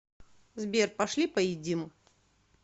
сбер пошли поедим